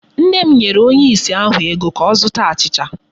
Nna m nyere onye ìsì ahụ ego ka ọ zụta achịcha.